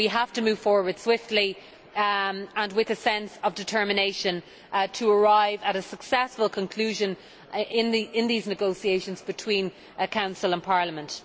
that we have to move forward swiftly and with a sense of determination to arrive at a successful conclusion in these negotiations between the Council and Parliament.